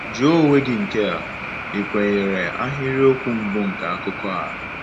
Jụọ onwe gị nke a: “Ị kwenyere ahịrịokwu mbụ nke akụkọ a?”